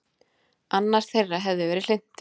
Annar þeirra hefði verið hlynntur